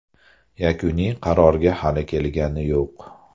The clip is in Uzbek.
Yakuniy qarorga hali kelingani yo‘q.